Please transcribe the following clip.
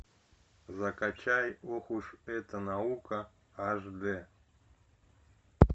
закачай ох уж эта наука аш дэ